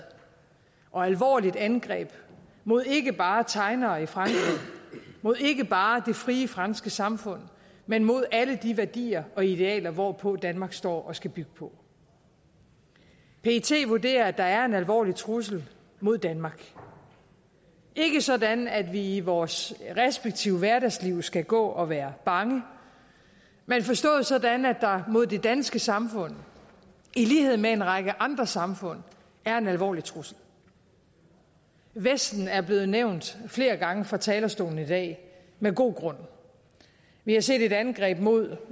og et alvorligt angreb mod ikke bare tegnere i frankrig mod ikke bare det frie franske samfund men mod alle de værdier og idealer hvorpå danmark står og skal bygge på pet vurderer at der er en alvorlig trussel mod danmark ikke sådan at vi i vores respektive hverdagsliv skal gå og være bange men forstået sådan at der mod det danske samfund i lighed med en række andre samfund er en alvorlig trussel vesten er blevet nævnt flere gange fra talerstolen i dag med god grund vi har set et angreb mod